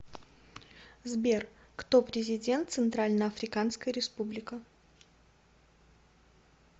сбер кто президент центральноафриканская республика